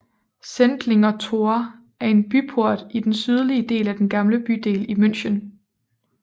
Sendlinger Tor er en byport i den sydlige del af den gamle bydel i München